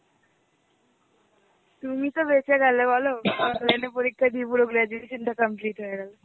তুমি তো বেঁচে গেলে বলো, online এ পরীক্ষা দিয়ে পুরো graduation টা complete হয়ে গেল.